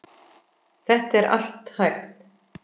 Þetta er allt hægt.